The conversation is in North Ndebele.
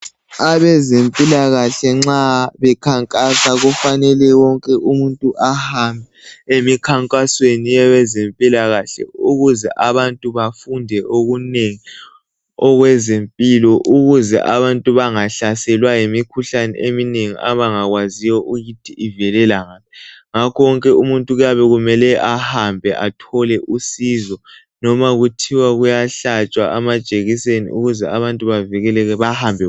Abezempilakahle nxa bekhankasa kufanele wonke umuntu ahambe emkhankasweni yabezempilakahle ukuze abantu bafunde okunengi okwezempilakahle ukuze abantu bangahlaselwa yimikhuhlane eminengi abangakwaziyo ukuthi ivelela ngaphi ngakho ke wonke umuntu kuyabe kumele ahambe athole usizo noma kuthwa kuyahlatshwa amajekiseni ukuze abantu bavikeleke bahambe bonke.